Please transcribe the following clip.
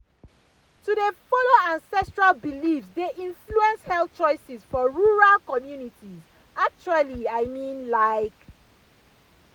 to dey follow ancestral beliefs dey influence health choices for rural communities actually i mean like.